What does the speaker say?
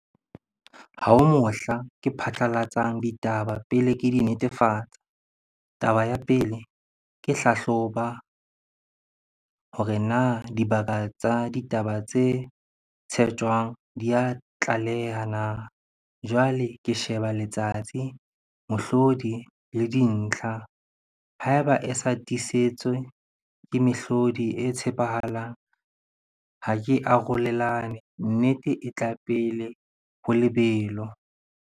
Ha ho mohla ke phatlalatsang ditaba pele ke di netefatsa. Taba ya pele, ke hlahloba hore na dibaka tsa ditaba tse tshetjwang di a tlaleha na. Jwale ke sheba letsatsi, mohlodi le dintlha. Ha e ba e sa tiisetswe ke mehlodi e tshepahalang ha ke arolelane, nnete e tla pele ho lebelo.